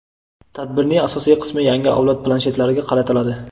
tadbirning asosiy qismi yangi avlod planshetlariga qaratiladi.